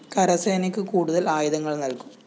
കരസേനക്ക് കൂടുതല്‍ ആയുധങ്ങള്‍ നല്‍കും